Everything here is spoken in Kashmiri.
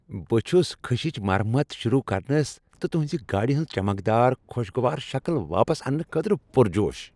بہٕ چھس خٕشچ مرمت شروع کرنس تہٕ تہنٛزِ گاڑِ ہُند چمکدار، خوشگوار شکل واپس اننہٕ خٲطرٕ پرجوش۔